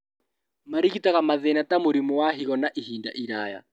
Marigitaga mathĩna ta mũrimu wa higo wa ihinda iraya